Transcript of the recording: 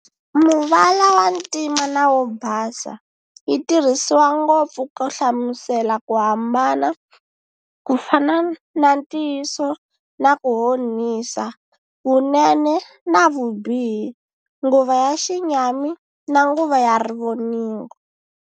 Muvala wa ntima na wo basa, yitirhisiwa ngopfu ku hlamusela ku hambana, kufana na ntiyiso na ku Honisa, Vunene na vubihi, Nguva ya xinyami na Nguva ya rivoningo.